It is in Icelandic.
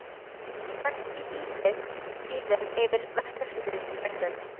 Svo strax í bítið kvíðinn yfir verkaskiptum dagsins.